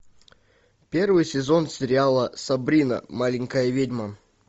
первый сезон сериала сабрина маленькая ведьма